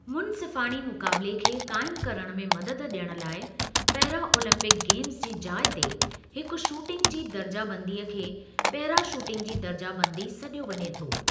मुनसिफ़ाणी मुक़ाबिले खे क़ाइमु करणु में मदद ॾियणु लाइ, पैरा ओलम्पिक गेम्ज़ जी जाइ ते हिकु शूटिंग जी दर्जा बंदी खे पेरा शूटिंग जी दर्जा बंदी सॾियो वञे थो।